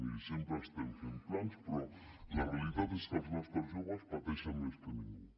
miri sempre estem fent plans però la realitat és que els nostres joves pateixen més que ningú